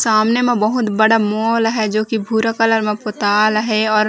सामने में बहुत बड़ा मॉल हय जो की भूरा कलर में पोताल हे अउर --